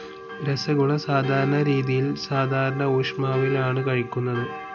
രസഗുള സാധാരണ രീതിയിൽ സാധാരണ ഊഷ്മാവിൽ ആണ് കഴിക്കുന്നത്.